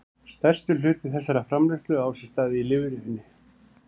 Stærstur hluti þessarar framleiðslu á sér stað í lifrinni.